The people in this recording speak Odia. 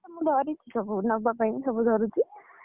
ମୁଁ ଧରିଛି ସବୁ ନବା ପାଇଁ ସବୁ ଧରୁଛି।